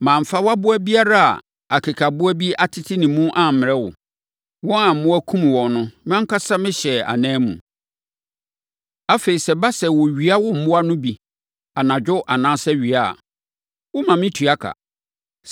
Mamfa wʼaboa biara a akekaboa bi atete ne mu ammrɛ wo; wɔn a mmoa kumm wɔn no, mʼankasa mehyɛɛ anan mu. Afei sɛ ɛba sɛ wɔwia wo mmoa no bi, anadwo anaa awia a, woma metua ka.